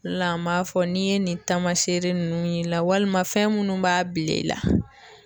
O la an b'a fɔ n'i ye nin taamaseere nunnu y'i la walima fɛn minnu b'a bila i la.